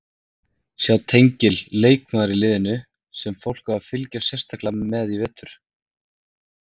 Sjá tengil Leikmaður í liðinu sem fólk á að fylgjast sérstaklega með í vetur?